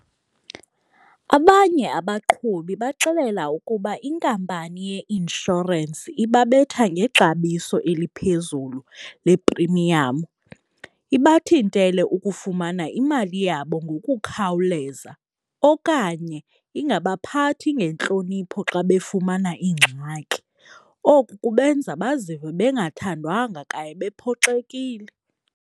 Abanye abaqhubi baxelela ukuba inkampani ye-inshorensi ibabetha ngexabiso eliphezulu leprimiyam. Ibathintele ukufumana imali yabo ngokukhawuleza okanye ingabaphathi ngentlonipho xa befumana ingxaki. Oku kubenza bazive bengathandwanga kanye bephoxekile.